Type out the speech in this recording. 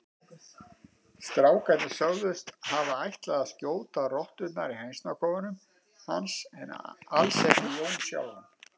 Strákarnir sögðust hafa ætlað að skjóta rotturnar í hænsnakofanum hans en alls ekki Jón sjálfan.